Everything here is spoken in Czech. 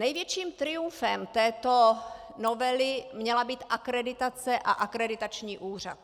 Největším triumfem této novely měla být akreditace a akreditační úřad.